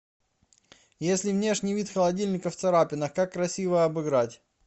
если внешний вид холодильника в царапинах как красиво обыграть